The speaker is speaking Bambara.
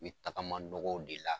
N mi taga nɔgɔw de la